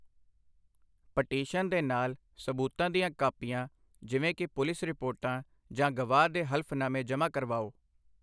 Petition ਦੇ ਨਾਲ ਸਬੂਤਾਂ ਦੀਆਂ ਕਾਪੀਆਂ ਜਿਵੇਂ ਕਿ ਪੁਲਿਸ ਰਿਪੋਰਟਾਂ ਜਾਂ ਗਵਾਹ ਦੇ ਹਲਫ਼ਨਾਮੇ ਜਮ੍ਹਾਂ ਕਰਵਾਓ।